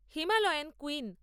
Himalayan queen